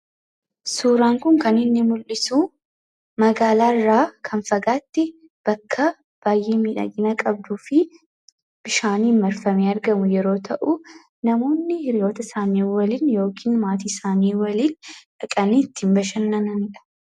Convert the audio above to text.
Suuraan kun kan inni mul'isu magaalaa irraa kan fagaatte bakkaa baay'ee miidhagina qabduufi bushaaniin marfamee argamu yeroo ta'u, namoonni hiriyoota isaanii waliin yookiin maatii isaanii waliin dhaqanii itti bashannananidha.